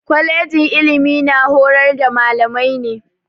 Kwalejin ilimi na horar da mallamai ne.